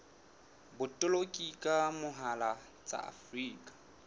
botoloki ka mohala tsa afrika